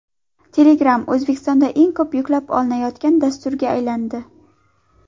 Telegram O‘zbekistonda eng ko‘p yuklab olinayotgan dasturga aylandi.